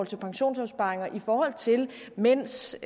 til pensionsopsparing og i forhold til mænds